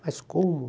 Mas como?